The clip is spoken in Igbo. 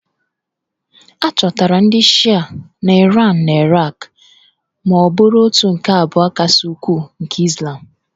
A chọtara ndị Shịa na Iran na Iraq ma bụrụ òtù nke abụọ kasị ukwuu nke Izlam